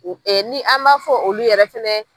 O ni an maa fɔ olu yɛrɛ fɛnɛ.